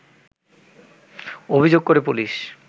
অভিযোগ করে পুলিশ